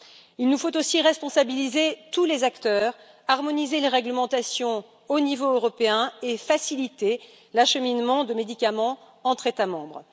Il nous faut aussi responsabiliser tous les acteurs, harmoniser les réglementations au niveau européen et faciliter l'acheminement de médicaments entre États membres.